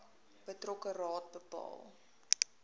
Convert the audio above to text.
betrokke raad bepaal